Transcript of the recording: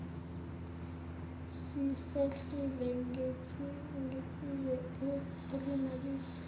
sisehlise ngetiye elinobisi